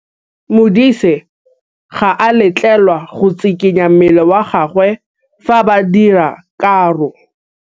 Modise ga a letlelelwa go tshikinya mmele wa gagwe fa ba dira karô.